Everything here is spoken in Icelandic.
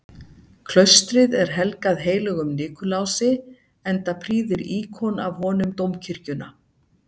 Klaustrið er helgað heilögum Nikulási, enda prýðir íkon af honum dómkirkjuna.